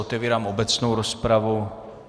Otevírám obecnou rozpravu.